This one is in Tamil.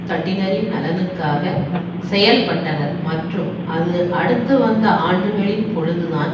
தட்டினரின் நலனுக்காக செயல்பட்டனர் மற்றும் அது அடுத்து வந்த ஆண்டுகளின் பொழுது தான்